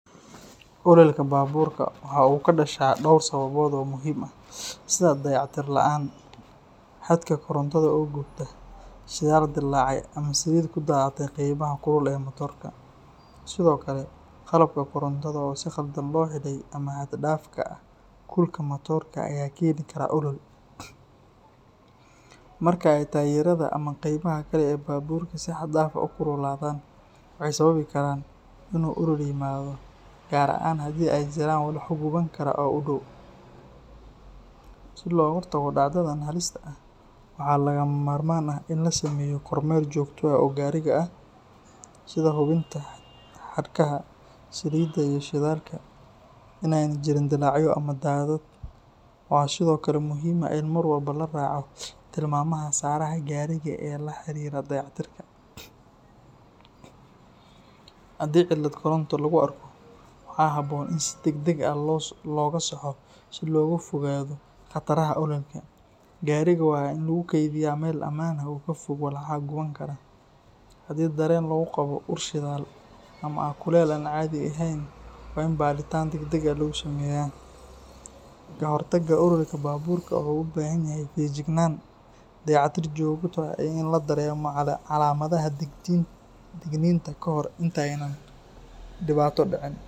Ololka baburka waxa uu ka dhashaa dhowr sababood oo muhiim ah, sida dayactir la’aan, xadhkaha korontada oo gubta, shidaal dillaacay, ama saliid ku daadatay qaybaha kulul ee matoorka. Sidoo kale, qalabka korontada oo si khaldan loo xidhay ama xad-dhaafka kulka matoorka ayaa keeni kara olol. Marka ay taayirada ama qaybaha kale ee baburka si xad-dhaaf ah u kululaadaan, waxay sababi karaan in uu olol yimaado, gaar ahaan haddii ay jiraan walxo guban kara oo u dhow. Si looga hortago dhacdadan halista ah, waxaa lagama maarmaan ah in la sameeyo kormeer joogto ah oo gaariga ah, sida hubinta xadhkaha, saliidda iyo shidaalka, in aanay jirin dillaacyo ama daadad. Waxaa sidoo kale muhiim ah in mar walba la raaco tilmaamaha saaraha gaariga ee la xiriira dayactirka. Haddii cillad koronto lagu arko, waxaa habboon in si degdeg ah looga saxo si looga fogaado khataraha ololka. Gaariga waa in lagu keydiyaa meel ammaan ah oo ka fog walxaha guban kara. Haddii dareen lagu qabo ur shidaal ama kuleyl aan caadi ahayn, waa in baadhitaan degdeg ah lagu sameeyaa. Ka hortagga ololka baburka wuxuu u baahan yahay feejignaan, dayactir joogto ah iyo in la dareemo calaamadaha digniinta kahor intaanay dhibaato dhicin.